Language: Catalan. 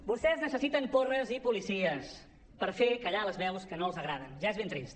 vostès necessiten porres i policies per fer callar les veus que no els agraden ja és ben trist